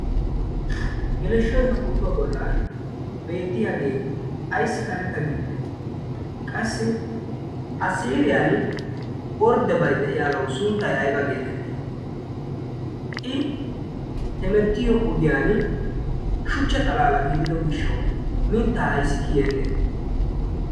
geleshshoy ha pootuwaa bollan beettiyaagee ayssi karetta gidide qassi ha siliyan orddebai de'iyaagawu sunttay ayba geetettii i hemettiyo ogiyan shuchcha xalaala gidido gishshau mittaa aissi kiyeenne